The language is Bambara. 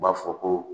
U b'a fɔ ko